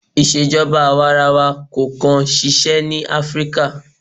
Ìṣèjọba àwarawa kò kàn ṣiṣẹ́ ní Áfríkà.